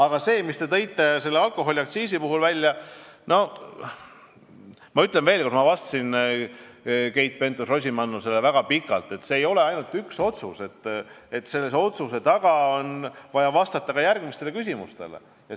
Aga selle kohta, mis te tõite välja alkoholiaktsiisi puhul, ütlen ma veel kord – ma vastasin Keit Pentus-Rosimannusele väga pikalt –, et see ei tähenda ainult ühte otsust, vaid on vaja vastata mitmele küsimusele.